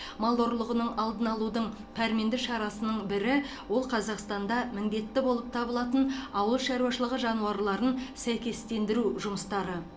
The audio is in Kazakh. мал ұрлығының алдын алудың пәрменді шарасының бірі ол қазақстанда міндетті болып табылатын ауыл шаруашылығы жануарларын сәйкестендіружұмыстары